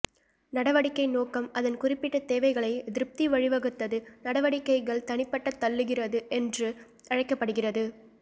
நடவடிக்கை நோக்கம் அதன் குறிப்பிட்ட தேவைகளை திருப்தி வழிவகுத்தது நடவடிக்கைகள் தனிப்பட்ட தள்ளுகிறது என்று அழைக்கப்படுகிறது